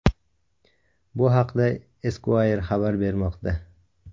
Bu haqda Esquire xabar bermoqda .